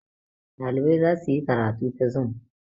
ɗalibai za su yi karatu ta zum